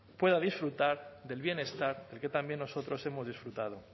pueda disfrutar del bienestar del que también nosotros hemos disfrutado